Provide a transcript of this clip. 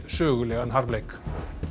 sögulegan harmleik